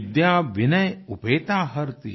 विद्या विनय उपेता हरति